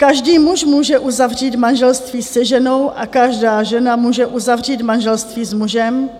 Každý muž může uzavřít manželství se ženou a každá žena může uzavřít manželství s mužem,